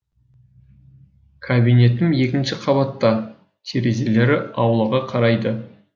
кабинетім екінші қабатта терезелері аулаға қарайды